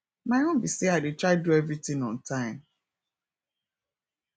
my own be say i dey try do everything on time